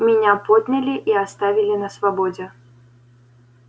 меня подняли и оставили на свободе